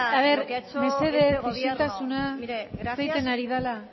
lo que ha hecho este gobierno mesedez isiltasuna hitz egiten ari dela